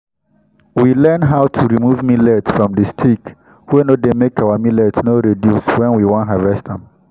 we learn how to remove millet from the stick wey no dey make our millet no reduce when we won harvest am